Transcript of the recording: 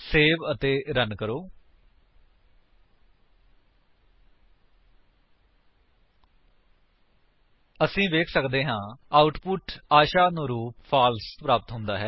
save ਅਤੇ run ਕਰੋ ਅਸੀ ਵੇਖ ਸੱਕਦੇ ਹਾਂ ਕਿ ਆਉਟਪੁਟ ਵਿੱਚ ਆਸ਼ਾਨੁਰੂਪ ਫਾਲਸ ਪ੍ਰਾਪਤ ਹੁੰਦਾ ਹੈ